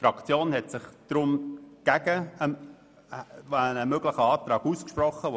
Die BDP-Fraktion hat sich deshalb gegen einen möglichen Antrag, der nun nicht vorliegt, ausgesprochen.